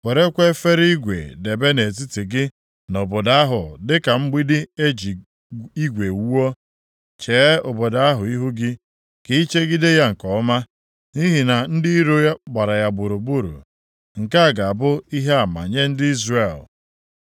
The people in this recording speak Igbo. Werekwa efere igwe debe nʼetiti gị na obodo ahụ dịka mgbidi e ji igwe wuo. Chee obodo ahụ ihu gị, ka ị chegide ya nke ọma nʼihi na ndị iro gbara ya gburugburu. Nke a ga-abụ ihe ama nye ndị Izrel.